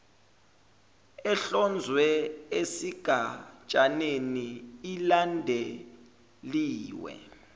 ehlonzwe esigatshaneni ilandeliwe